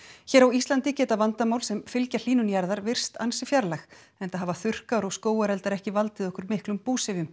hér á Íslandi geta vandamál sem fylgja hlýnun jarðar virst ansi fjarlæg enda hafa þurrkar og skógareldar ekki valdið okkur miklum búsifjum